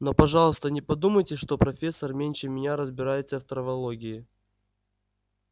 но пожалуйста не подумайте что профессор меньше меня разбирается в травологии